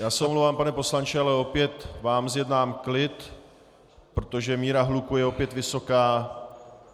Já se omlouvám, pane poslanče, ale opět vám zjednám klid, protože míra hluku je opět vysoká.